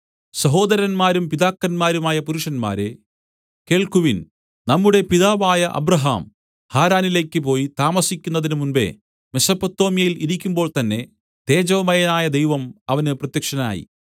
സഹോദരന്മാരും പിതാക്കന്മാരുമായ പുരുഷന്മാരേ കേൾക്കുവിൻ നമ്മുടെ പിതാവായ അബ്രാഹാം ഹാരാനിലേക്ക് പോയി താമസിക്കുന്നതിന് മുമ്പെ മെസൊപ്പൊത്താമ്യയിൽ ഇരിക്കുമ്പോൾ തന്നേ തേജോമയനായ ദൈവം അവന് പ്രത്യക്ഷനായി